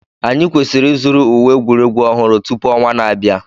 Anyị kwesịrị ịzụrụ uwe egwuregwu ọhụrụ tupu ọnwa na-abịa